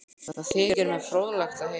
Það þykir mér fróðlegt að heyra